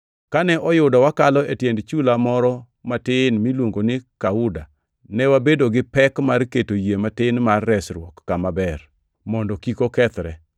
Kane oyudo wakalo e tiend chula moro matin miluongo ni Kauda, ne wabedo gi pek mar keto yie matin mar resruok kama ber, mondo kik okethre.